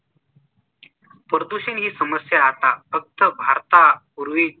प्रदूषण ही समस्या आता फक्त भारतापूर्वी